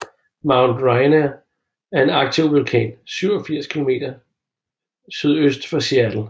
Mount Rainier er en aktiv vulkan 87 km SØ for Seattle